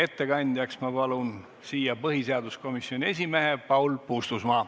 Ettekandjaks palun siia põhiseaduskomisjoni esimehe Paul Puustusmaa.